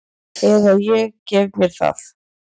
Eða ég gef mér það.